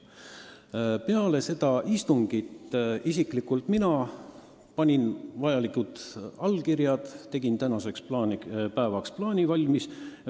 Peale seda istungit ma panin oma allkirjad, kuhu vaja, ja tegin tänaseks päevaks plaani valmis.